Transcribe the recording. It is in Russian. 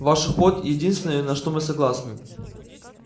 ваш уход единственное на что мы согласны